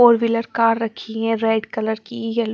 four wheeler car रखी हैं red colour की यलो --